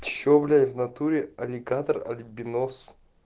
что блять в натуре аллигатор альбинос